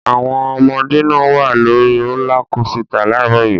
Àwọn ọmọdé náà wà lórí rólá kósità láàárọ̀ yìí.